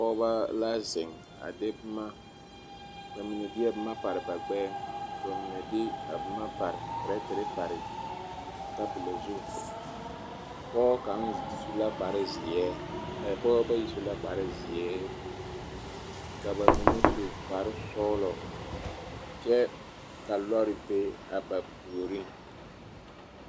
Pɔgeba la zeŋ, bamine deɛ boma pare ba gbɛɛŋ ka bamine de a pɛrɛtɛre pare tabolɔ zu pɔgeba bayi su la kpare zeɛ ka bamine su kpare sɔgelɔ kyɛ ka lɔre be a ba puoriŋ.